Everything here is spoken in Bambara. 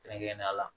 Kɛrɛnkɛrɛnnenya la